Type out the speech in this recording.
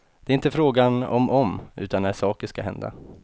Det är inte fråga om om, utan när saker skall hända.